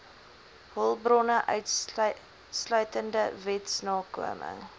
hulpbronne insluitende wetsnakoming